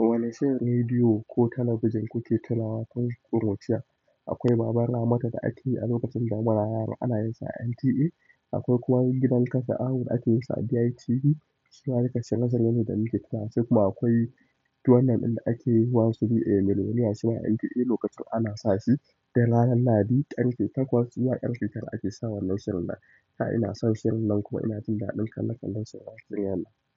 Wane shirin rediyo ko talabijin kuke tunawa tun ƙuruciya? Akwai baban Ramata da ake yi a lokacin da muna yara, ana yinsa a NTA. Akwai kuma gidan ƙasa awon da ake yinsa a DITV. Zuwa rikici nazarin da muke tuna su kuma akwai dawan nan inda ake yi "who wants to be a millionaire?" shima a NTA lokacin ana sa shi duk ranar Lahadi ƙarfe takwas. Iya ƙarfe tara ake sawa wannan shirin nan. Da ina son shirin nan kuma ina jin daɗin kallon kal shirin waƙar ƙiƙar.